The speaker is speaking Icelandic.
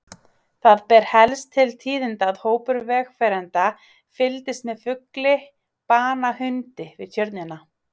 Það ber helst til tíðinda að hópur vegfarenda fylgdist með fugli bana hundi við Tjörnina.